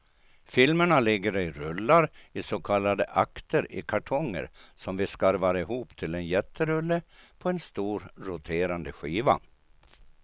Filmerna ligger i rullar, i så kallade akter i kartonger, som vi skarvar ihop till en jätterulle på en stor roterande skiva.